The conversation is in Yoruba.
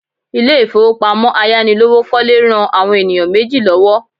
Ilé ìfowópamọ́ ayánilówókọ́lé ran àwọn ènìyàn méjì lọ́wọ́